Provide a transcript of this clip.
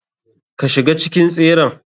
Ka shiga cikin tseren.